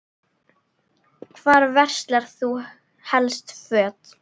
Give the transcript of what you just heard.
Hvar verslar þú helst föt?